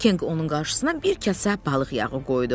Kenq onun qarşısına bir kasə balıq yağı qoydu.